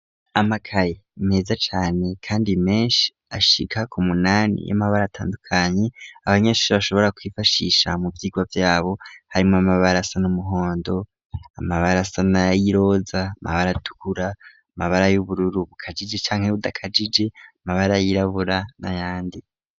Amakaye meza cane kandi meshi ashika ku munani y'amabara atandukanye abanyeshure bashobora kwifashisha mu vyirwa vyabo harimwo amabara asa n'umuhondo amabara asa na y'iroza amabara atukura amabara y'ubururu bukajije canke budakajije amabara yirabura n'ayandi.